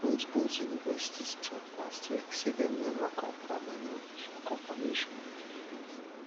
both both universities tok last week say dem neva confam any official confirmation of di freeze